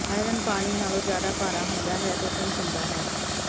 iron ਪਾਣੀ ਨਾਲੋਂ ਜ਼ਿਆਦਾ ਭਾਰਾ ਹੁੰਦਾ ਹੈ ਅਤੇ ਸਿੰਕ ਹੁੰਦਾ ਹੈ